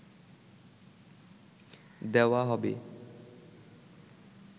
দেওয়া হবে